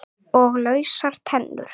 Og lausar tennur!